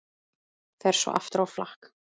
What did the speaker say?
Fer svo aftur á flakk.